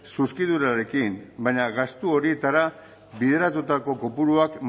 zuzkidurarekin baina gastu horietara bideratutako kopuruak